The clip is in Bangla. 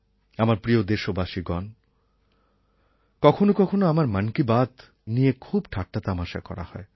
আমার প্রিয় দেশবাসীগণ কখনও কখনও আমার মন কি বাত নিয়ে খুব ঠাট্টাতামাসা করা হয়